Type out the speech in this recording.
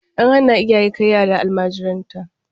An hana iyaye kai yara almajiranta.